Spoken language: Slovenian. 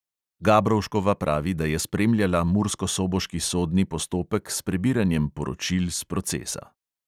Gabrovškova pravi, da je spremljala murskosoboški sodni postopek s prebiranjem poročil s procesa.